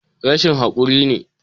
Rashin hakuri ne